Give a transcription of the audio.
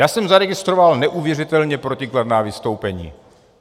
Já jsem zaregistroval neuvěřitelně protikladná vystoupení.